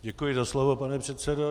Děkuji za slovo pane předsedo.